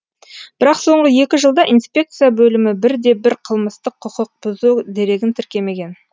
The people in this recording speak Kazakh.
бірақ соңғы екі жылда инспекция бөлімі бірде бір қылмыстық құқықбұзу дерегін тіркемеген